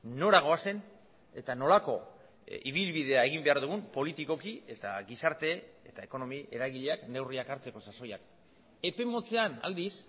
nora goazen eta nolako ibilbidea egin behar dugun politikoki eta gizarte eta ekonomi eragileak neurriak hartzeko sasoian epe motzean aldiz